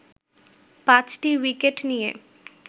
পাঁচটি উইকেট নিয়ে